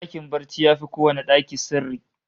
Dakin barci yafi kowanne daki sirri